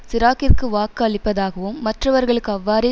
சிராக்கிற்கு வாக்கு அளிப்பதாகவும் மற்றவர்களும் அவ்வாறே